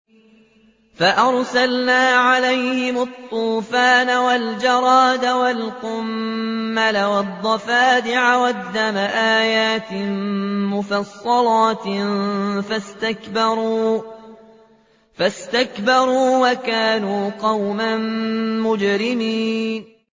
فَأَرْسَلْنَا عَلَيْهِمُ الطُّوفَانَ وَالْجَرَادَ وَالْقُمَّلَ وَالضَّفَادِعَ وَالدَّمَ آيَاتٍ مُّفَصَّلَاتٍ فَاسْتَكْبَرُوا وَكَانُوا قَوْمًا مُّجْرِمِينَ